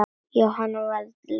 Jóhann var ekki lengur reiður.